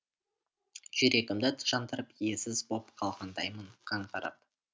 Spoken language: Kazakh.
жүрегімді жандырып иесіз боп қалғандаймын қаңғырып